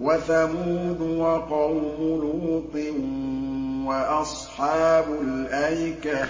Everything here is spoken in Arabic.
وَثَمُودُ وَقَوْمُ لُوطٍ وَأَصْحَابُ الْأَيْكَةِ ۚ